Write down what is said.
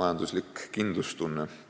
majandusliku kindlustunde puudumine.